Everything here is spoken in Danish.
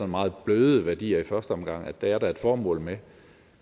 meget bløde værdier i første omgang er der et formål med